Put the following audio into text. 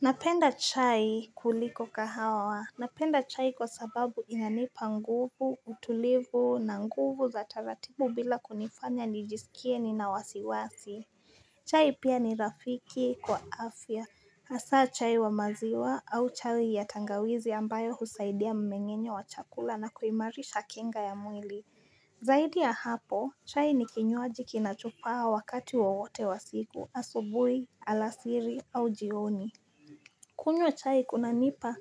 Napenda chai kuliko kahawa, napenda chai kwa sababu inanipa nguvu, utulivu na nguvu za taratibu bila kunifanya nijisikie nina wasiwasi chai pia ni rafiki kwa afya, hasa chai wa maziwa au chai ya tangawizi ambayo husaidia mmeng'enyo wa chakula na kuimarisha kinga ya mwili Zaidi ya hapo, chai ni kinywaji kinachopaa wakati wowote wa siku, asubui, alasiri, au jioni kunywa chai kunanipa